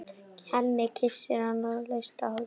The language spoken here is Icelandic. Hemmi kyssir hana laust á hálsinn.